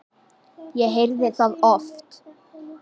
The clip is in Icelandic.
Ég heyrði það oft.